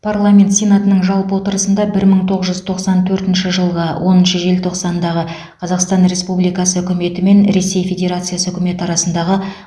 парламент сенатының жалпы отырысында бір мың тоғыз жүз тоқсан төртінші жылғы оныншы желтоқсандағы қазақстан республикасы үкіметі мен ресей федерациясы үкіметі арасындағы